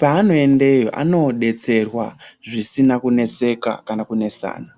pevanoendeyo anoodetesrwa zvisina kuneseka kana kunesana.